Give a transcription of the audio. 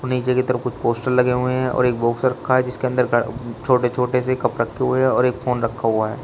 और नीचे की तरफ कुछ पोस्टर लगे हुए हैं और एक बॉक्स रखा है जिसके अंदर छोटे छोटे से कप रखे हुए हैं और एक फोन रखा हुआ है।